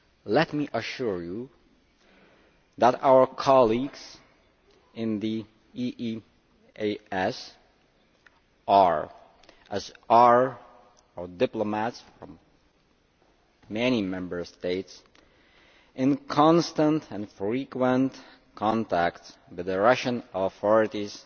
Let me assure you that our colleagues in the EEAS are, along with diplomats from many Member States, in constant and frequent contact with the Russian authorities